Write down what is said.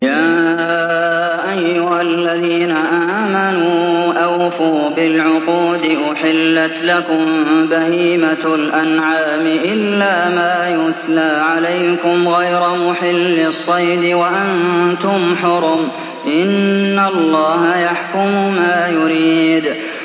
يَا أَيُّهَا الَّذِينَ آمَنُوا أَوْفُوا بِالْعُقُودِ ۚ أُحِلَّتْ لَكُم بَهِيمَةُ الْأَنْعَامِ إِلَّا مَا يُتْلَىٰ عَلَيْكُمْ غَيْرَ مُحِلِّي الصَّيْدِ وَأَنتُمْ حُرُمٌ ۗ إِنَّ اللَّهَ يَحْكُمُ مَا يُرِيدُ